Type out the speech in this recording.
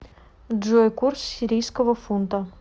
джой курс сирийского фунта